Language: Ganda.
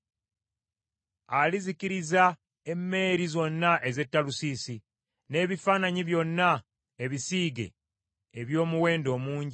Alizikiriza emmeeri zonna ez’e Talusiisi, n’ebifaananyi byonna ebisiige eby’omuwendo omungi.